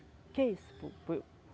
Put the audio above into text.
O que é isso?